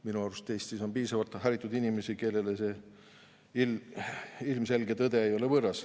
Minu arust on Eestis piisavalt haritud inimesi, kellele see ilmselge tõde ei ole võõras.